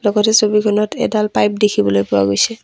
গোটেই ছবিখনত এডাল পাইপ দেখিবলৈ পোৱা গৈছে।